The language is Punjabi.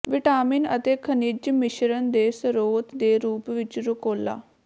ਵਿਟਾਮਿਨ ਅਤੇ ਖਣਿਜ ਮਿਸ਼ਰਣ ਦੇ ਸਰੋਤ ਦੇ ਰੂਪ ਵਿੱਚ ਰੁਕੋਲਾ